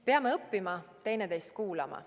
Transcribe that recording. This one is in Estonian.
Peame õppima teineteist kuulama.